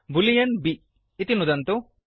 Boolean b boolean B इति नुदन्तु